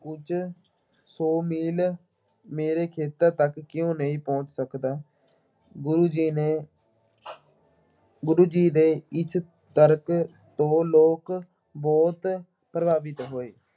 ਕੁੱਝ ਸੌ ਮੀਲ ਮੇਰੇ ਖੇਤਰ ਤੱਕ ਕਿਉਂ ਨਹੀਂ ਪਹੁੰਚ ਸਕਦਾ। ਗੁਰੂ ਜੀ ਨੇ ਗੁਰੂ ਜੀ ਦੇ ਇਸ ਤਰਕ ਤੋਂ ਲੋਕ ਬਹੁਤ ਪ੍ਰਭਾਵਿਤ ਹੋਏ।